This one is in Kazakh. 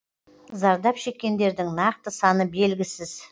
зардап шеккендердің нақты саны белгісіз